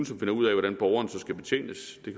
som finder ud af hvordan borgeren så skal betjenes det